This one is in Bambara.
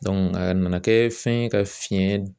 a nana kɛ fɛn ye ka fiɲɛ